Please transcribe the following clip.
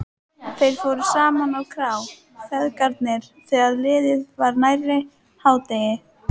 Þeir fóru saman á krá, feðgarnir, þegar liðið var nærri hádegi.